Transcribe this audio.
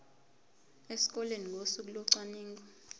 esikoleni ngosuku locwaningo